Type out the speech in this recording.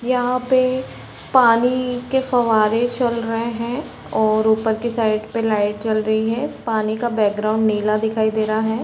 यहाँ पे पानी के फवारे चल रहे है और ऊपर के साइड पे लाइट जल रही है पानी का बैकग्राउंड नीला दिखाई दे रहा है।